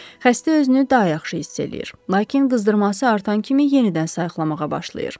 Xəstə özünü daha yaxşı hiss edir, lakin qızdırması artan kimi yenidən sayiqlamağa başlayır.